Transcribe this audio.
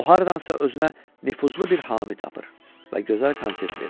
O hardansa özünə nüfuzlu bir hami tapır və gözəl konsert verir.